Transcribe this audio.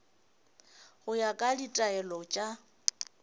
go ya ka ditaelo tša